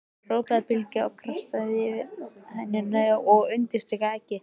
hrópaði Bylgja, krassaði yfir hænuna og undirstrikaði eggið.